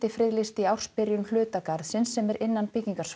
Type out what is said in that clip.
skyndifriðlýsti í ársbyrjun hluta garðsins sem er innan